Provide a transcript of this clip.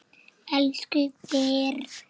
Elsku Birna frænka mín.